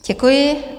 Děkuji.